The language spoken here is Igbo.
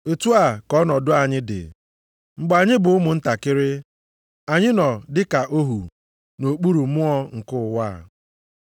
Otu a ka ọnọdụ anyị dị, mgbe anyị bụ ụmụntakịrị. Anyị nọ dị ka ohu nʼokpuru mmụọ nke ụwa.